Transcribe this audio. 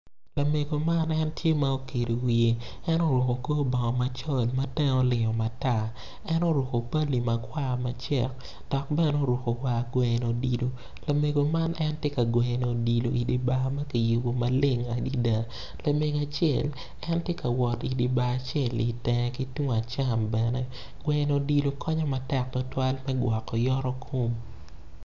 Lamego man tye ma okedo wiye en oruko kor bongo macol ma tenge olingo matar en oruko pali ma kwar macek dok bene oguko war gweyo odilo lamego man en tye ka gweyo odilo i dye bar ma kiyubo maleng adada lamego acel en tye ka wot i dye bar acel-li i teng ki tung acam bene.